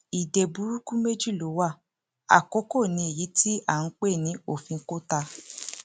ìdè burúkú méjì ló wá àkókò ní èyí tí à ń pè ní òfin kota